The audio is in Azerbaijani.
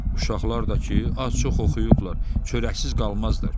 Uşaqlar da ki, az-çox oxuyublar, çörəksiz qalmazlar.